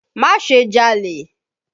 Má ṣe jalè!